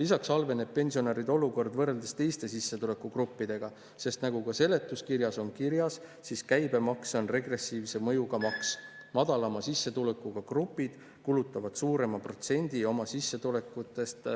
Lisaks halveneb pensionäride olukord võrreldes teiste sissetulekugruppidega, sest nagu ka seletuskirjas on kirjas, siis käibemaks on regressiivse mõjuga maks – madalama sissetulekuga grupid kulutavad suurema protsendi oma sissetulekust